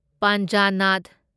ꯄꯥꯟꯖꯅꯥꯗ